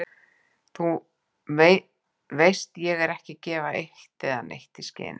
Þú veist ég er ekki að gefa eitt né neitt í skyn.